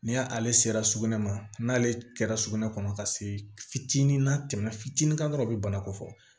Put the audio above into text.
Ni ale sera sugunɛ ma n'ale kɛra sugunɛ kɔnɔ ka se fitinin na fitinin kan dɔrɔn i bi banako fɔ